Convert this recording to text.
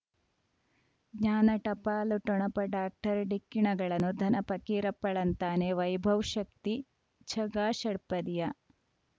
ಜ್ಞಾನ ಟಪಾಲು ಠೊಣಪ ಡಾಕ್ಟರ್ ಢಿಕ್ಕಿ ಣಗಳನು ಧನ ಫಕೀರಪ್ಪ ಳಂತಾನೆ ವೈಭವ್ ಶಕ್ತಿ ಝಗಾ ಷಟ್ಪದಿಯ